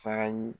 Saga ɲii